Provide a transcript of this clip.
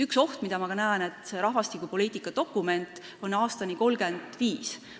Üks oht, mida ma näen, on see, et see rahvastikupoliitika dokument on koostatud aastani 2035.